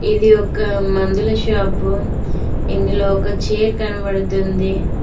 ఇది ఒక మందుల షాపు ఇందులో ఒక చేర్ కనపడుతుంది.